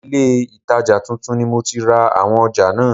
Ilé itaja tuntun ni mo ti ra àwọn ọjà náà.